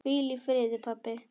Hvíl í friði, pabbi.